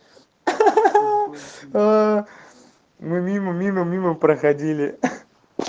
хахаха мимо мимо мимо проходили